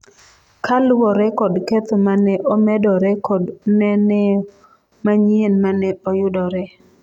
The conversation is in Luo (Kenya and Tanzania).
kaluwore kod ketho mane omedore kod neneo manyien mane oyudore